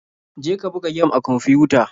Je ka buga gem a kwamfiyuta.